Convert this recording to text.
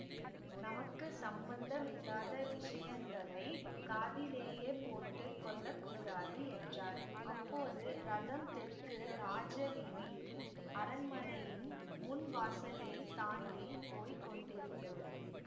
நமக்கு சம்பந்தமில்லாத விஷயங்களை காதிலேயே போட்டு கொள்ள கூடாது என்றார் அப்போது ரதம் தெற்கு ராஜவீதியில் அரண்மனையின் முன் வாசலைத் தாண்டி போய் கொண்டிருந்தது